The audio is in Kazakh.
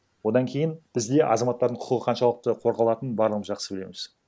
одан кейін бізде азаматтардың құқығы қаншалықты қорғалатынын барлығымыз жақсы білеміз